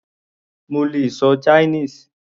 Mo lè ṣọ Chinese.